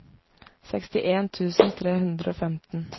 sekstien tusen tre hundre og femten